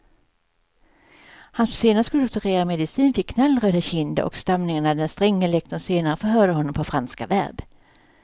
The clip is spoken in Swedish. Han som senare skulle doktorera i medicin fick knallröda kinder och stamningar när den stränge lektorn senare förhörde honom på franska verb.